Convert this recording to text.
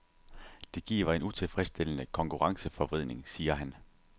Det giver en utilfredsstillende konkurrenceforvridning, siger han.